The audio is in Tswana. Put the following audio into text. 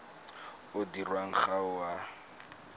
o dirwang ga o a